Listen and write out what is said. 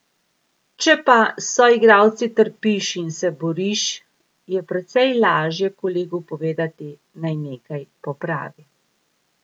Če pa s soigralci trpiš in se boriš, je precej lažje kolegu povedati, naj nekaj popravi.